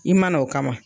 I mana o kama